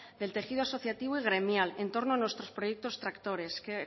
del tejido asociativo y gremial en torno a nuestros proyectos tractores